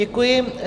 Děkuji.